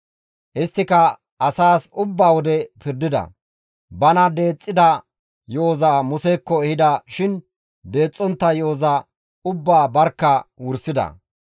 Isttika asaas ubba wode pirdida; bana deexxida yo7oza Musekko ehida shin deexxontta yo7oza ubbaa barkka wursida.